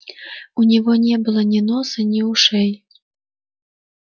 у него не было ни носа ни ушей